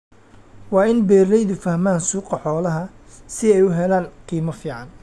Waa in beeralaydu fahmaan suuqa xoolaha si ay u helaan qiimo fiican.